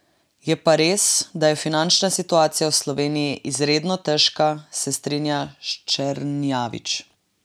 Je pa res da je finančna situacija v Sloveniji izredno težka, se strinja Ščernjavič.